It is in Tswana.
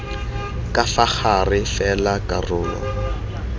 ka fa gare fela karolo